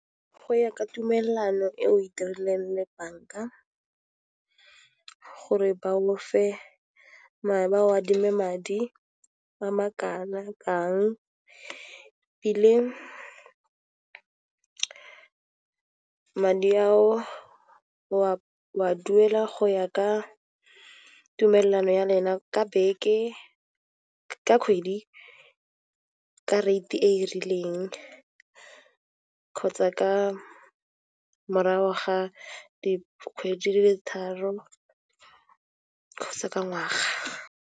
Go ya ka tumellano e o itireleng le banka gore ba o adime madi a makana-kang madi ao o a duela go ya ka tumelano ya lena ka beke ka kgwedi ka rate e rileng kgotsa ka morago ga dikgwedi di le tharo kgotsa ka ngwaga.